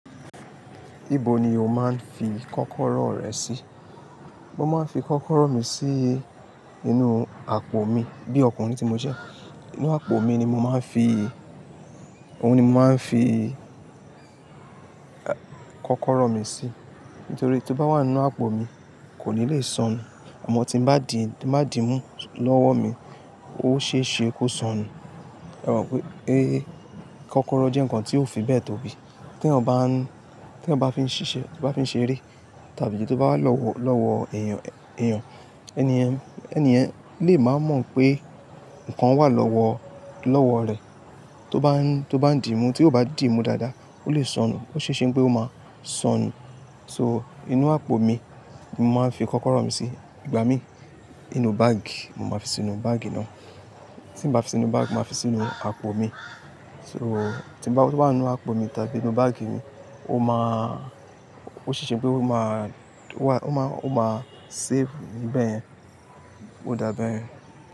Níbo ni o máa ń fi kọ́kọ́rọ́ rẹ sí? Mo máa ń fi kọ́kọ́rọ́ mi sí inú àpò mi bí ọkùnrin tí mo jẹ́. Nínú àpò mi ni mo máa ń fi, òun ni mo máa ń fi kọ́kọ́rọ́ mi sí. Nítorí tí ó bá wà nínú àpò mi kò ní le sọnù. Ọmọ tí bá di, bá dì mú lọ́wọ́ mi, ó ṣe é ṣe kó sọnù. Ẹ̀ mọ̀ pé kọ́kọ́rọ́ jẹ́ nǹkan tí ó fi bẹ́ẹ̀ tó bí tí ẹ̀ ò bá, tí ẹ bá fi ń ṣiṣẹ́, bá fi ń ṣeré tàbí tí ó bá lọ́wọ́-lọ́wọ́ èèyàn-èèyàn, ẹni yẹ̀n, ẹni yẹ̀n lè máa mọ̀ pé nǹkan wà lọ́wọ́-ọ́wọ́ rẹ̀. Tó bá ń, tó bá ń dìímú, tí ó bá dìímú dáadáa, ó lè sọnù. Ó ṣe é ṣe pé ó máa sọnù. So inú àpò mi ni mo máa ń fi kọ́kọ́rọ́ mi sí. Ìgbà mí inú báàgì, mo máa fi sínú báàgì náà. Tí n bá fi sínú báàgì, mo máa fi sínú àpò mi. So tí bá wà nínú àpò mi tàbí inú báàgì mi, ó máa, ó ṣe é ṣe pé ó máa, ó máa, ó máa save níbẹ̀ yẹn. Ó dàbẹ́ yen.